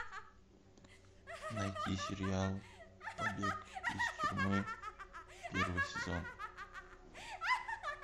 найти сериал побег из тюрьмы первый сезон